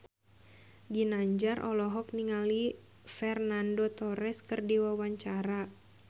Ginanjar olohok ningali Fernando Torres keur diwawancara